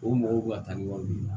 O mɔgɔw bɛ ka taa ni wari min ye